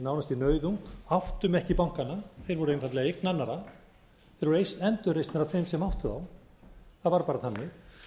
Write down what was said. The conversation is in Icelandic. nánast í nauðung áttum ekki bankana þeir voru einfaldlega eign annarra þeir voru endurreistir af þeim sem áttu þá það var bara þannig